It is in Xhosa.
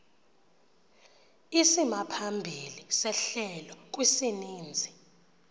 isimaphambili sehlelo kwisininzi